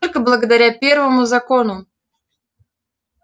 только благодаря первому закону